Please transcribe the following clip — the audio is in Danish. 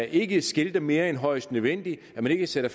ikke skilter mere end højst nødvendigt så man ikke sætter